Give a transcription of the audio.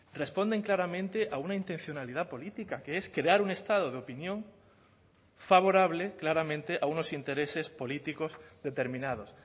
responden claramente a una intencionalidad política que es crear un estado de opinión favorable claramente a unos intereses políticos determinados